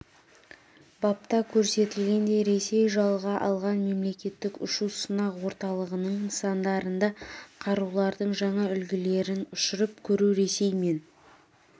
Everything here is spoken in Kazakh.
бапта көрсетілгендей ресей жалға алған мемлекеттік ұшу-сынақ орталығының нысандарында қарулардың жаңа үлгілерін ұшырып көру ресей мен